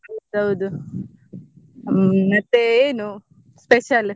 ಹೌದೌದು ಹ್ಮ್ ಮತ್ತೆ ಏನು special ?